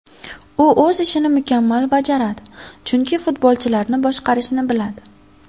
U o‘z ishini mukammal bajaradi, chunki futbolchilarni boshqarishni biladi.